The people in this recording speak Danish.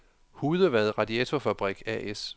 Hudevad Radiatorfabrik A/S